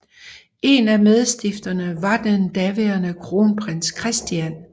En af medstifterne var den daværende Kronprins Christian